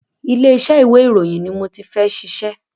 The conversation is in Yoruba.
Ilé iṣẹ́ ìwé ìròyìn ni mo ti fẹ́ ṣiṣẹ́.